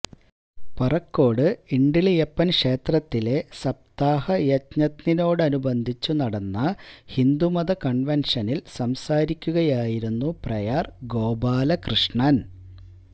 പറക്കോട് ഇണ്ടിളയപ്പൻ ക്ഷേത്രത്തിലെ സപ്താഹയജ്ഞത്തോടനുബന്ധിച്ചു നടന്ന ഹിന്ദുമത കൺെവൻഷനിൽ സംസാരിക്കുകയായായിരുന്നു പ്രയാർ ഗോപാലകൃഷ്ണൻ